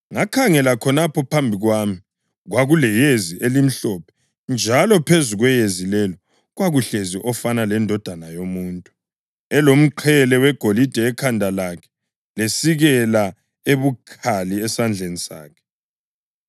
Ngakhangela khonapho phambi kwami kwakuleyezi elimhlophe njalo phezu kweyezi lelo kwakuhlezi ofana lendodana yomuntu + 14.14 UDanyeli 7.13 elomqhele wegolide ekhanda lakhe lesikela ebukhali esandleni sakhe.